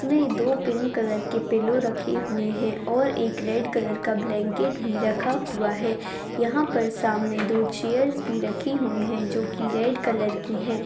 इन मे दो pink colour के पिलो रखे हुए है और एक रेड कलर का ब्लैंकेट भी रखा हुआ है यहाँ पर सामने दो चैरस भी रखी हुई है जो की रेड कलर की है।